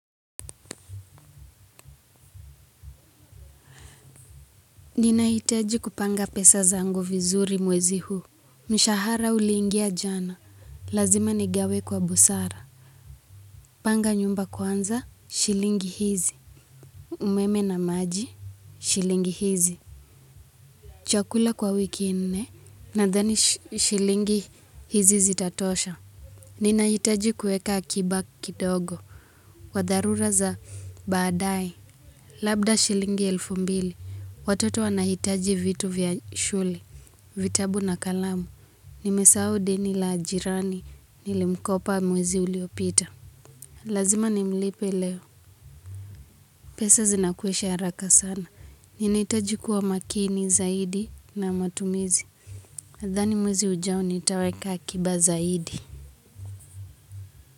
Ninahitaji kupanga pesa zangu vizuri mwezi huu. Mshahara uliingia jana. Lazima nigawe kwa busara. Panga nyumba kwanza. Shilingi hizi. Umeme na maji. Shilingi hizi. Chakula kwa wiki nne nadhani shilingi hizi zitatosha. Ninahitaji kueka akiba kidogo. Wa dharura za baadae. Labda shilingi elfu mbili. Watoto wanahitaji vitu vya shule. Vitabu na kalamu. Nimesau deni la jirani. Nilimkopa mwezi uliopita. Lazima nimlipe leo. Pesa zinakwisha haraka sana. Ninihitaji kuwa makini zaidi na matumizi. Nadhani mwezi ujao nitaweka akiba zaidi.